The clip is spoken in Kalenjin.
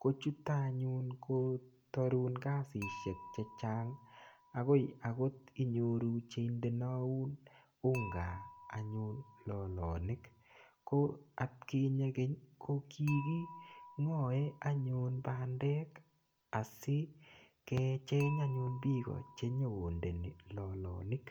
kochutakanyun kotarun kasishek, ko chutak anyun kotarun kasishek angot inyoru cheindaun unga lalanik koatkinye keny kokingae pandek asikecheng anyun piik che nyokondei lalanik.